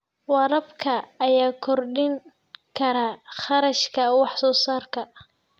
Waraabka ayaa kordhin kara kharashka wax soo saarka.